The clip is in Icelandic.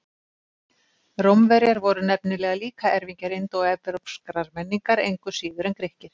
Rómverjar voru nefnilega líka erfingjar indóevrópskrar menningar, engu síður en Grikkir.